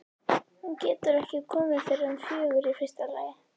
Hún getur ekki komið fyrr en fjögur í fyrsta lagi.